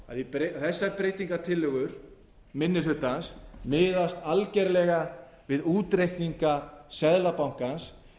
geta að þessar breytingartillögur minni hlutans miðast algerlega við útreikninga seðlabankans